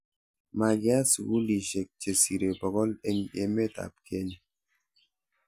makiyat sukulisiek che sirei bokol eng' emetab Kenya